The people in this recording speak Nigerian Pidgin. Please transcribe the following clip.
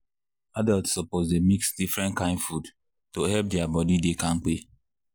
people wey care about health suppose dey chop fruit and vegetables every day to stay well.